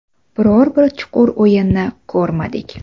Biror bir chuqur o‘yinni ko‘rmadik.